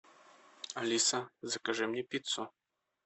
алиса закажи мне пиццу